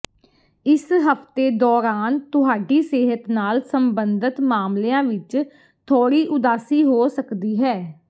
ਇਸ ਹਫਤੇ ਦੌਰਾਨ ਤੁਹਾਡੀ ਸਿਹਤ ਨਾਲ ਸੰਬੰਧਤ ਮਾਮਲਿਆਂ ਵਿਚ ਥੋੜ੍ਹੀ ਉਦਾਸੀ ਹੋ ਸਕਦੀ ਹੈ